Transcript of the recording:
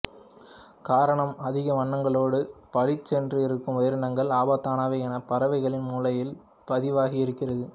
காரணம் அதிக வண்ணங்களோடு பளிச்சென்று இருக்கும் உயிரினங்கள் ஆபத்தானவை எனப் பறவைகளின் மூளையில் பதிவாகி இருக்கிறது